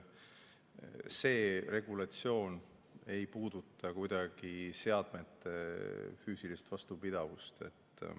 See regulatsioon ei puuduta kuidagi seadmete füüsilist vastupidavust.